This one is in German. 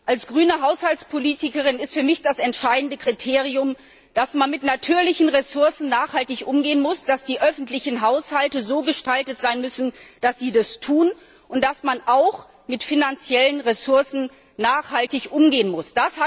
Als grüne Haushaltspolitikerin ist für mich das entscheidende Kriterium, dass man mit natürlichen Ressourcen nachhaltig umgehen muss, dass die öffentlichen Haushalte so gestaltet sein müssen, dass sie das tun und dass man auch mit finanziellen Ressourcen nachhaltig umgehen muss.